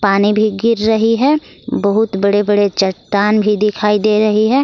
पानी भी गिर रही है बहुत बड़े बड़े चट्टान भी दिखाई दे रही है।